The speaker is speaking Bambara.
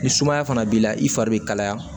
Ni sumaya fana b'i la i fari bɛ kalaya